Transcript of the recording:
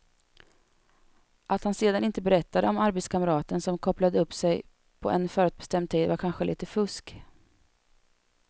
Att han sedan inte berättade om arbetskamraten som kopplade upp sig på en förutbestämd tid var kanske lite fusk.